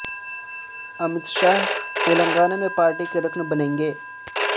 امیت شاہ تلنگانہ میں پارٹی کے رکن بنیں گے